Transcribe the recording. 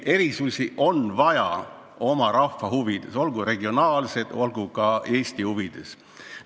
Erisusi on vaja oma rahva huvides – olgu regionaalseid, olgu terve Eesti huvides.